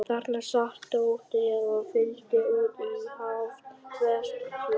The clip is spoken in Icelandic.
Þarna sat Tóti og fyllti út í hálft svefnloftið.